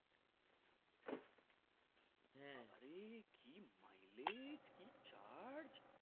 বাবারে কি mileage কি charge